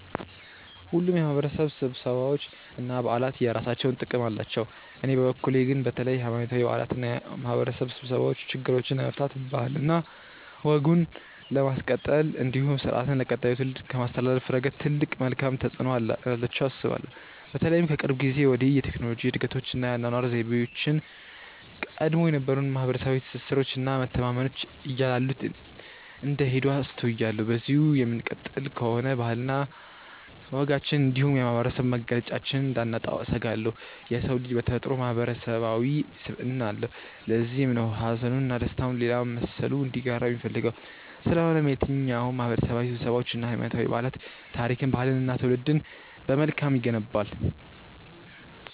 ሁሉም የማህበረሰብ ስብሰባዎች እና በዓላት የየራሳቸው ጥቅም አላቸው። በእኔ በኩል ግን በተለይ ሀይማኖታዊ በዓላት እና የማህበረሰብ ስብሰባዎች ችግሮችን ለመፍታት ባህልና ወግን ለማስቀጠል እንዲሁም ስርአትን ለቀጣዩ ትውልድ ከማስተላለፍ ረገድ ትልቅ መልካም ተፆዕኖ እንዳላቸው አስባለሁ። በተለይም ከቅርብ ጊዜ ወዲህ የቴክኖሎጂ እድገቶች እና የአኗኗር ዘይቤያችን ቀድሞ የነበሩንን ማህበረሰባዊ ትስስሮች እና መተማመኖች እያላሉት እንደሄዱ አስተውያለሁ። በዚሁ የምንቀጥል ከሆነ ባህልና ወጋችንን እንዲሁም የማህበረሰብ መገለጫችንን እንዳናጣው እሰጋለሁ። የሰው ልጅ በተፈጥሮው ማህበረሰባዊ ስብዕና አለው። ለዚህም ነው ሀዘኑን እና ደስታውን ሌላ መሰሉ እንዲጋራው የሚፈልገው። ስለሆነም የትኛውም ማህበረሰባዊ ስብሰባዎች እና ሀይማኖታዊ በዓላት ታሪክን፣ ባህልንን እና ትውልድን በመልካም ይገነባል።